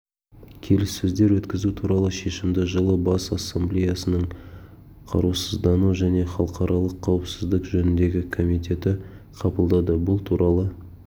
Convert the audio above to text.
келіссөздер өткізу туралы шешімді жылы бас ассамблеясының қарусыздану және халықаралық қауіпсіздік жөніндегі комитеті қабылдады бұл туралы